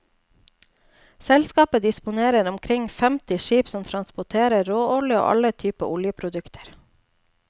Selskapet disponerer omkring femti skip som transporterer råolje og alle typer oljeprodukter.